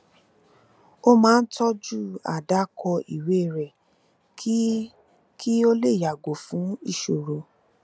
ó máa ń tọjú àdákọ ìwé rẹ kí kí o lè yàgò fún ìṣòro